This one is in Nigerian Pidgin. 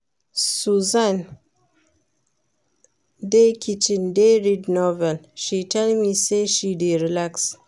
Susan dey kitchen dey read novel, she tell me say she dey relax